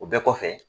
O bɛɛ kɔfɛ